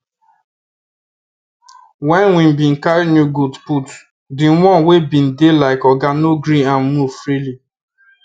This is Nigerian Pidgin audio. when we bin carry new goat put the one wey bin dey like oga no gree am move freely